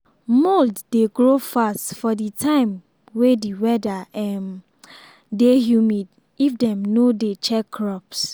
mould dey grow fast for the time way the weather um dey humid if dem no dey check crops.